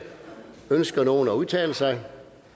ønsker nogen at udtale sig